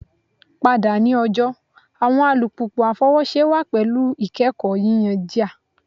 Pada ni ọjọ awọn alupupu afọwọṣe wa pẹlu ikẹkọ yiyan jia